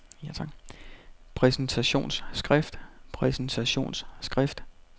præsentationsskrift præsentationsskrift præsentationsskrift